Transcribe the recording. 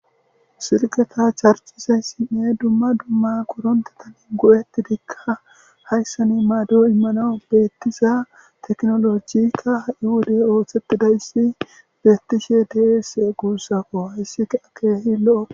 Silketa charcizayssinne dumma dumma korontetan go7eti dikka hayssan maad immana beettiza teknolojikka ha7i wodey ooththettidayssi beettishe deese guussakko hayssikaa keehi lo7o.